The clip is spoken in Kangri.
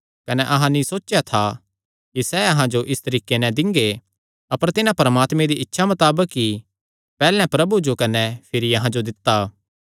कने अहां नीं सोचेया था कि सैह़ अहां जो इस तरीके नैं दिंगे अपर तिन्हां परमात्मे दी इच्छा मताबक ई पैहल्ले प्रभु जो कने भिरी अहां जो दित्ता